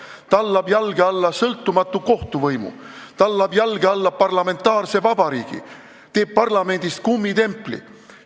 Ta tallab jalge alla sõltumatu kohtuvõimu, tallab jalge alla parlamentaarse vabariigi ja teeb parlamendist kummitempli.